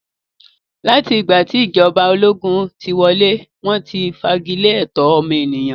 Láti ìgbà tí ìjọba ológun tí wọlé, wọ́n ti fagilé ẹ̀tọ́ ọmọnìyàn.